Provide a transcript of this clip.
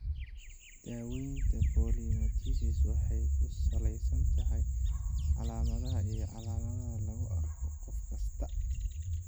Daaweynta polymyositis waxay ku salaysan tahay calaamadaha iyo calaamadaha lagu arko qof kasta.